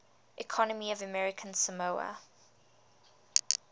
economy of american samoa